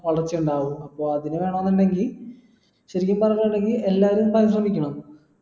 വളർച്ച ഇണ്ടാവു അപ്പൊ അതിന് വേണോന്നിണ്ടെങ്കി ചുരുക്കി പറഞ്ഞ എല്ലാരും ശ്രമിക്കണം